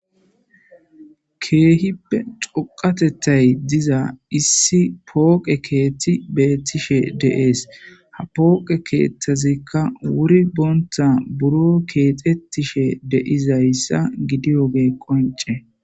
Keehippe xoqatettay diza issi pooqe keethti beettishe deees ha pooqe keeththazikka wuri boonta buro keexettishe deizayssa gidiyoge qonce.